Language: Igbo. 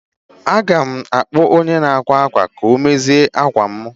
Aga m akpọ onye na ákwà akwa ka ọ mezierem akwa mụ